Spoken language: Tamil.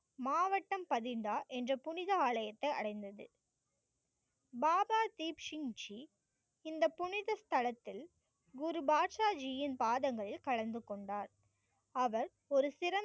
மாவட்டம் பதிந்தார் என்ற புனித ஆலயத்தை அடைந்தது. பாபா தீப் சிங் ஜி இந்த புனித தளத்தில் குரு பாக்ஷா ஜியின் பாதங்கள் கலந்து கொண்டார். அவர் ஒரு சிறந்த